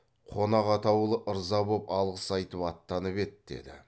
қонақ атаулы ырза боп алғыс айтып аттанып еді деді